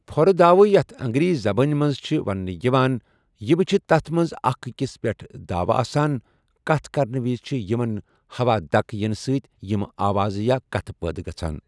پھورٕ داوٕ یَتھ اَنٛگریٖزی زَبان مَنٛز چھِ ونٔنہٕ یِوان یمہٕ وُچھتھ تتھ مَنٛز اَکھ أکِس پؠٹھ دَاوٕ آسان، کتھ کرنہٕ وِزِ چھِ یِمن ہَوا دکٔہ ینہٕ سۭتۍ یمہٕ آواز یا کتھ پٲدٕ گژھان۔